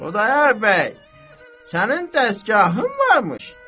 Xudayar bəy, sənin də dəsgahın varmış.